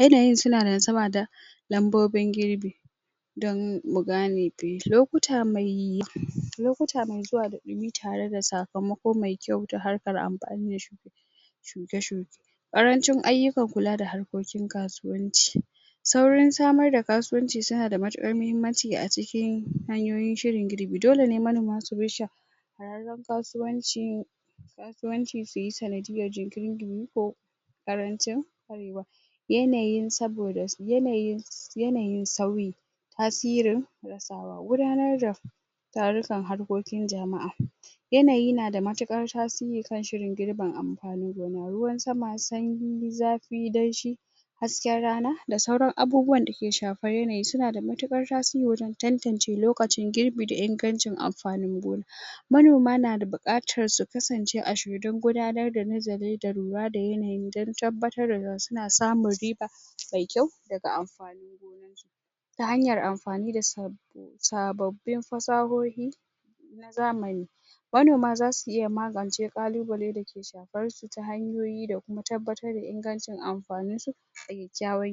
yanayin suna da nasaba da lambobin girbi don mu gane bey lokuta mai lokuta mai zuwa da ɗumi tare da sakamako mai kyau ta harkar amfani da shu shuke shuke ƙarancin ayyukan kula da harkokin kasuwanci saurin samar da kasuwanci tana da matuƙar mahimmanci a cikin hanyoyin shirin girbi dole ne manoma su bi sha shahararren kasuwanci kasuwanci suyi sanadiyyan jinkirin ɗumi ko ƙarancin ƙwarewa yanayin saboda yanayin sa yanayin sauyi tasirin rasawa gudanar da tarukan harkokin jama'a yanayi na da matuƙar tasiri kan shirin girbin amfanin gona ruwan sama sanyi zafi danshi hasken rana da sauran abubuwan dake shafar yanayi suna da matuƙar tasiri wajen tantance lokacin girbi da ingancin amfanin gona manoma na da buƙatar su kasance a shirye don gudanar da nazari da lura da yanayi don tabbatar da suna samun riba mai kyau daga amfani ta hanyar amfani da sab sababbin fasahohi na zamani manoma zasu iya magance ƙalubale dake shafar su ta hanyoyi da kuma tabbatar da ingancin amfaninsu da kyakkyawan yanayi